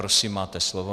Prosím, máte slovo.